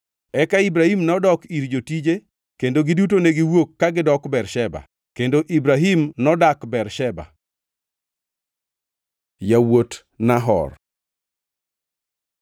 Eka Ibrahim nodok ir jotije, kendo giduto negiwuok ka gidok Bersheba. Kendo Ibrahim nodak Bersheba. Yawuot Nahor